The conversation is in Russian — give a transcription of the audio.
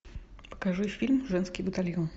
покажи фильм женский батальон